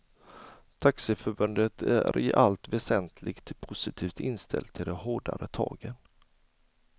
Taxiförbundet är i allt väsentligt positivt inställt till de hårdare tagen.